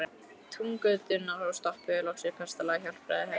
Túngötuna og stoppuðum loks við kastala Hjálpræðishersins.